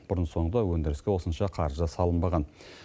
бұрын соңды өндіріске осынша қаржы салынбаған